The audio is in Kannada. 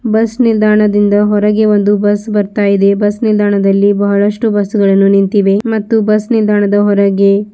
ಬಸ್ ನಿಲ್ದಾಣದಿಂದ ಹೊರಗೆ ಒಂದು ಬಸ್ ಬರ್ತಾ ಇದೆ ಬಸ್ ನಿಲ್ದಾಣದಲ್ಲಿ ಬಹಳಷ್ಟೂ ಬಸ್ಸುಗಳು ನಿಂತಿವೆ ಮತ್ತು ಬಸ್ಸು ನಿಲ್ದಾಣದ ಹೊರಗೆ.